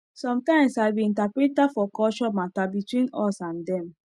sometimes i be interpreter for culture matter between us and dem